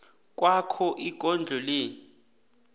kwakho ikondlo le